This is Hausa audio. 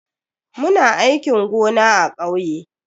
Muna aikin gona a kauye.